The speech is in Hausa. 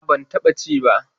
A'a, ban taɓa ci ba.